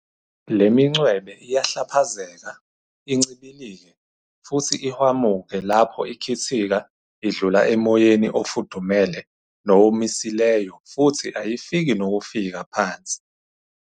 Le mincwebe iyahlaphazeka, incibilike, futhi ihwamuke lapho ikhithika idlula emoyeni ofudumele nowomisileyo futhi ayifiki nokufika phansi.